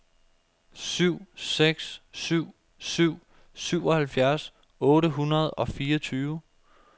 syv seks syv syv syvoghalvfjerds otte hundrede og fireogtyve